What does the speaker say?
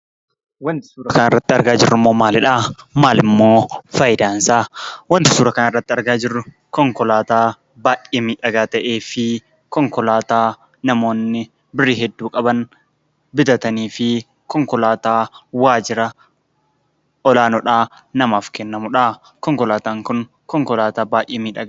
Wanti suuraa kanarratti argaa jirrummoo maalidhaa? Maalimmoo faayidaansaa? Wanti suura kanarratti argaa jirru konkolaataa baay'ee miidhagaa ta'ee fi konkolaataa namoonni birrii hedduu qaban bitatanii fi konkolaataa waajira olaanoodhaa namaaf kennamudhaa. Konkolaataan kun konkolaataa baay'ee miidhagaadha.